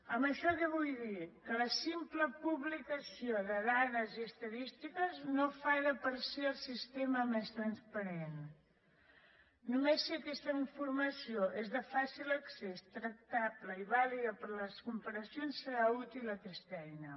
amb això què vull dir que la simple publicació de dades i estadístiques no fa de per si el sistema més transparent només si aquesta informació és de fàcil accés tractable i vàlida per a les comparacions serà útil aquesta eina